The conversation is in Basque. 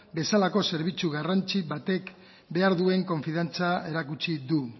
bezalako zerbitzu garrantzitsu batek behar duen konfiantza erakutsi du